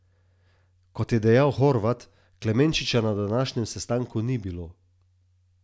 Kot je dejal Horvat, Klemenčiča na današnjem sestanku ni bilo.